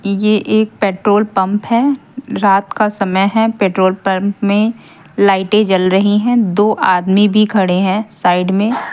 यह एक petrol pump है रात का समय है पेट्रोल पंप में लाइटें जल रही हैं दो आदमी भी खड़े हैं साइड में।